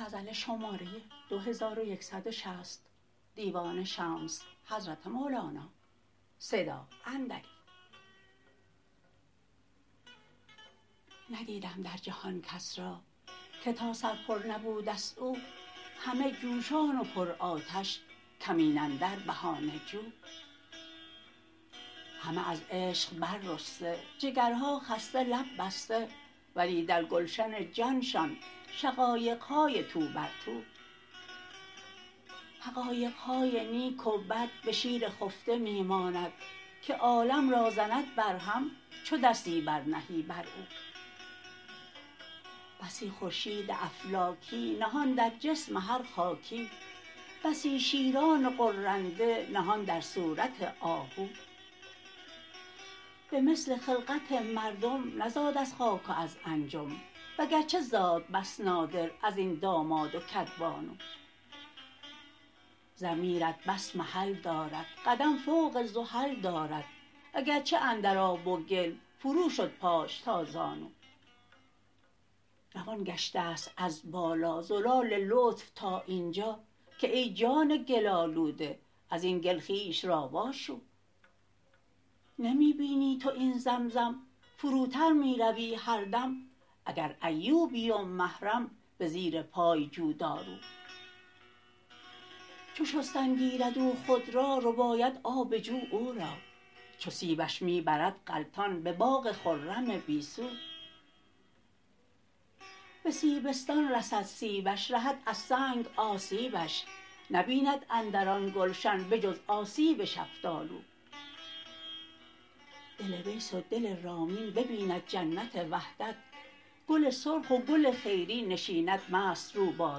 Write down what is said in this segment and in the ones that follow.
ندیدم در جهان کس را که تا سر پر نبوده ست او همه جوشان و پرآتش کمین اندر بهانه جو همه از عشق بررسته جگرها خسته لب بسته ولی در گلشن جانشان شقایق های تو بر تو حقایق های نیک و بد به شیر خفته می ماند که عالم را زند برهم چو دستی برنهی بر او بسی خورشید افلاکی نهان در جسم هر خاکی بسی شیران غرنده نهان در صورت آهو به مثل خلقت مردم نزاد از خاک و از انجم وگرچه زاد بس نادر از این داماد و کدبانو ضمیرت بس محل دارد قدم فوق زحل دارد اگرچه اندر آب و گل فروشد پاش تا زانو روان گشته ست از بالا زلال لطف تا این جا که ای جان گل آلوده از این گل خویش را واشو نمی بینی تو این زمزم فروتر می روی هر دم اگر ایوبی و محرم به زیر پای جو دارو چو شستن گیرد او خود را رباید آب جو او را چو سیبش می برد غلطان به باغ خرم بی سو به سیبستان رسد سیبش رهد از سنگ آسیبش نبیند اندر آن گلشن به جز آسیب شفتالو دل ویس و دل رامین ببیند جنت وحدت گل سرخ و گل خیری نشیند مست رو با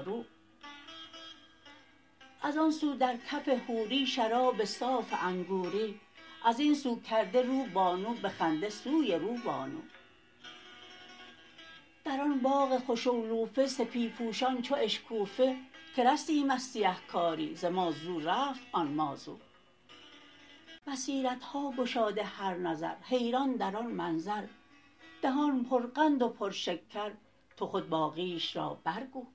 رو از آن سو در کف حوری شراب صاف انگوری از این سو کرده رو بانو به خنده سوی روبانو در آن باغ خوش اعلوفه سپی پوشان چو اشکوفه که رستیم از سیه کاری ز مازو رفت آن ما زو بصیرت ها گشاده هر نظر حیران در آن منظر دهان پرقند و پرشکر تو خود باقیش را برگو